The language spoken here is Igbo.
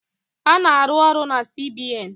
Ana-arụ ọrụ na CBN